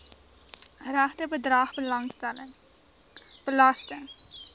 regte bedrag belasting